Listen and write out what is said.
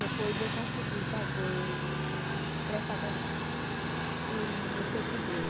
Depois eu consegui fazer, prestar concurso e me efetivei.